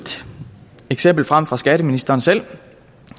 eksempel frem fra skatteministeren selv